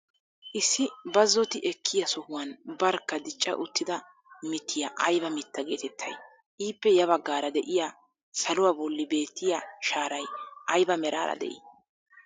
Issi bazzoti ekkiyaa sohuwaan barkka dicca uttida mittiyaa ayba mittaa getettay? Ippe ya baggaara de'iyaa saluwaa bolli beettiyaa shaaray ayba meraara de'ii?